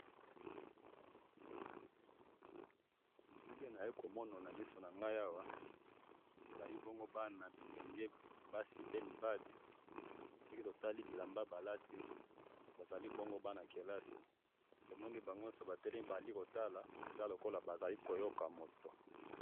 Bilili oyo naye ko mona na miso na ngai awa, ezali bongo bana bilenge basi pe mibali, soki to tali bilamba ba lati, bazali bongo bana kelasi, tomoni bango nyoso ba telemi bazali ko tala eza lokola bazali ko yoka moto